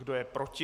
Kdo je proti?